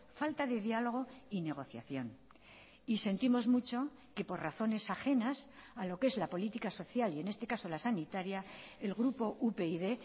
falta de diálogo y negociación y sentimos mucho que por razones ajenas a lo que es la política social y en este caso la sanitaria el grupo upyd